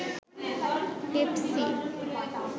Pepsi